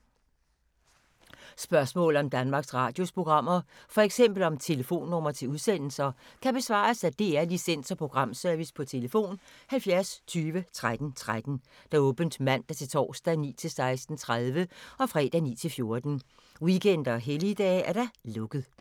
Spørgsmål om Danmarks Radios programmer, f.eks. om telefonnumre til udsendelser, kan besvares af DR Licens- og Programservice: tlf. 70 20 13 13, åbent mandag-torsdag 9.00-16.30, fredag 9.00-14.00, weekender og helligdage: lukket.